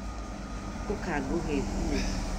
Ũka gũhe nguo